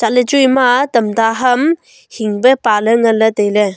chatley chu ema tamta ham hingpe paley nganley tailey.